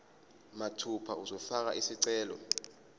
mathupha uzofaka isicelo